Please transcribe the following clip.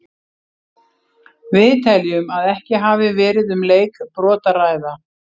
Við teljum að ekki hafi verið um leikbrot að ræða.